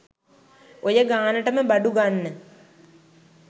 ඔය ගානටම බඩු ගන්න